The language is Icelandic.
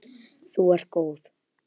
Þú ert góð!